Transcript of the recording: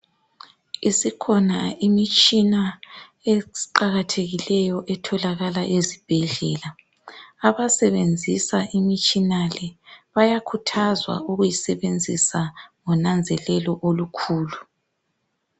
Isikhona imitshina eqakathekileyo etholakala ezibhedlela. Abasebenzisa imitshina le bayakhuthazwa ukuyisebenzisa ngonanzelelo olukhulu.